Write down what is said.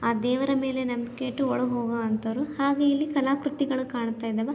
ಆ ದೇವರ ಮೇಲೆ ನಂಬಿಕೆ ಇಟ್ಟು ಒಳಗ್ ಹೋಗೋ ಅಂಥವ್ರು ಹಾಗೆ ಇಲ್ಲಿ ಕಲಾಕೃತಿಗಳು ಕಾಣುತ ಇದಾವೆ.